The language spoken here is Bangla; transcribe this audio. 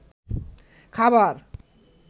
খাবার